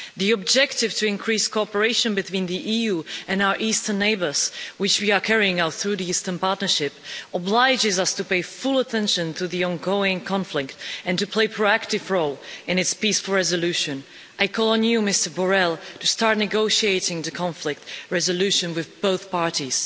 The objective to increase cooperation between the EU and our Eastern neighbours, which we are carrying out through the Eastern Partnership, obliges us to pay full attention to the ongoing conflict and to play a proactive role in its peaceful resolution. I call on you, Mr Borrell, to start negotiating the conflict resolution with both parties.